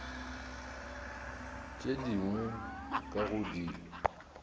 tše dingwe ka go di